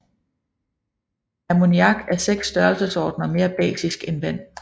Ammoniak er 6 størrelsesordener mere basisk end vand